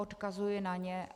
Odkazuji na ně.